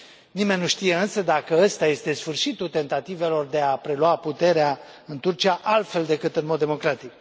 Nimeni nu știe, însă, dacă acesta este sfârșitul tentativelor de a prelua puterea în Turcia, altfel decât în mod democratic.